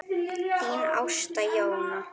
Þín Ásta Jóna.